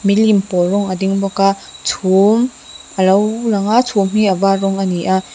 milim pawl rawng a ding bawk a chhum a lo lang a chhum hi a var rawng a ni a--